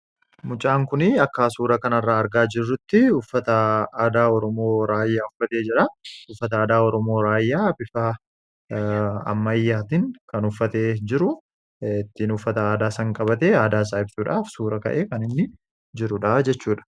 Mucaan kunii akkaa suura kana irraa argaa jirrutti uffata aadaa Oromoo Raayyaa uffatee jira. Uffata aadaa Oromoo Raayyaa bifaa ammayyaatin kan uffatee jiru ittiin uffata aadaa san qabate aadaa isaa ibsuudhaaf suura ka'e kan inni jirudhaa jechuudha.